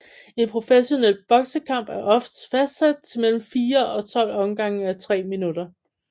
En professionel boksekamp er oftest fastsat til mellem fire og 12 omgange à tre minutter